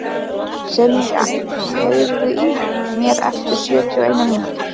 Senía, heyrðu í mér eftir sjötíu og eina mínútur.